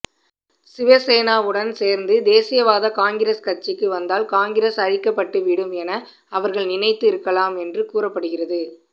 சிவசேனாவுடன் சேர்ந்து தேசியவாத காங்கிரஸ் ஆட்சிக்கு வந்தால் காங்கிரஸ் அழிக்கப்பட்டுவிடும் என அவர்கள் நினைத்து இருக்கலாம் என்றும் கூறப்படுகிறது